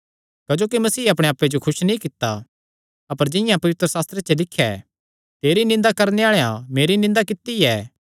क्जोकि मसीह अपणे आप्पे जो खुस नीं कित्ता अपर जिंआं पवित्रशास्त्रे च लिख्या ऐ तेरी निंदा करणे आल़ेआं मेरी निंदा कित्ती ऐ